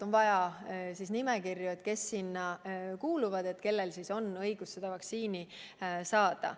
On vaja nimekirju, kes sinna kuuluvad, kellel on õigus vaktsiini saada.